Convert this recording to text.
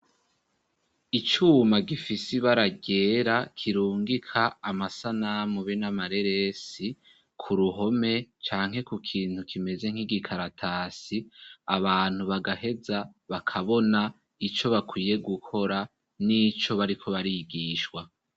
Icuma gifisi bara ryera kirungika amasanamu be n'amareresi ku ruhome canke ku kintu kimeze nk'igikaratasi abantu bagaheza bakabona ico bakwiye gukora n'ico bariko barigishwa.